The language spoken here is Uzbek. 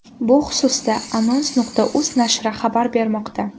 Bu xususda Anons.uz nashri xabar bermoqda .